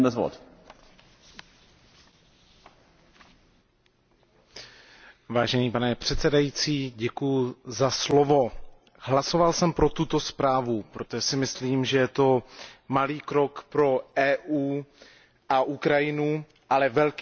Pane předsedající, hlasoval jsem pro tuto zprávu, protože si myslím, že je to malý krok pro Evropskou unii a Ukrajinu, ale velký krok pro nás pro všechny, velký krok pro mír a stabilitu na Ukrajině.